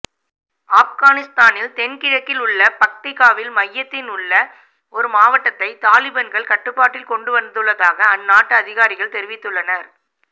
ஆஃப்கானிஸ்தானின் தென் கிழக்கில் உள்ள பக்டிகாவின் மையத்தில் உள்ள ஒரு மாவட்டத்தை தாலிபன்கள் கட்டுப்பாட்டில் கொண்டுவந்துள்ளதாக அந்நாட்டு அதிகாரிகள் தெரிவித்துள்ளனர்